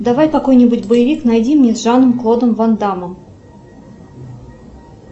давай какой нибудь боевик найди мне с жаном клодом ван даммом